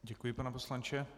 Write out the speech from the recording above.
Děkuji, pane poslanče.